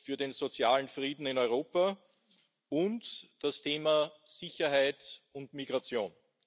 für den sozialen Frieden in Europa und das Thema Sicherheit und Migration.